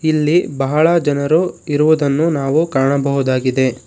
ಇಲ್ಲಿ ಬಹಳ ಜನರು ಇರುವುದನ್ನು ನಾವು ಕಾಣಬಹುದಾಗಿದೆ.